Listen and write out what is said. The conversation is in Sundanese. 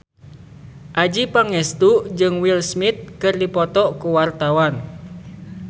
Adjie Pangestu jeung Will Smith keur dipoto ku wartawan